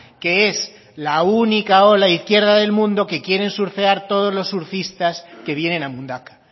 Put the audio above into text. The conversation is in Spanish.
que es la única ola izquierda del mundo que quieren surfear todos los surfistas que vienen a mundaka